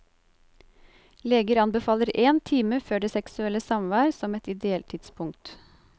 Leger anbefaler én time før det seksuelle samvær som et ideelt tidspunkt.